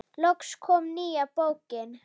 Loks kom nýja bókin.